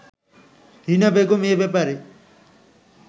রীনা বেগম এ ব্যাপারে